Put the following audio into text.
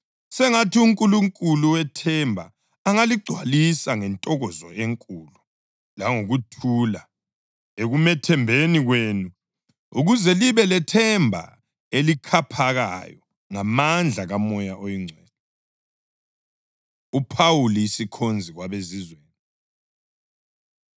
Sengathi uNkulunkulu wethemba angaligcwalisa ngentokozo enkulu langokuthula ekumethembeni kwenu, ukuze libe lethemba elikhaphakayo ngamandla kaMoya oNgcwele. UPhawuli Isikhonzi KwabeZizweni